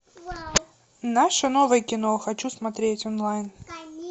наше новое кино хочу смотреть онлайн